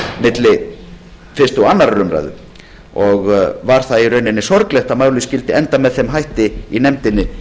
milli fyrstu og önnur umræða var í rauninni sorglegt að málið skyldi enda með þeim hætti í nefndinni